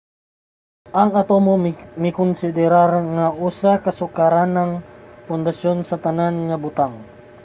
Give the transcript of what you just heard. ang atomo makonsederar nga usa sa sukaranang pundasyon sa tanan nga butang